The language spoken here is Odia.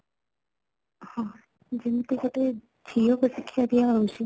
ହଁ, ଯେମିତି ଗୋଟେ ଝିଅ କୁ ଶିକ୍ଷା ଦିଆ ହେଉଛି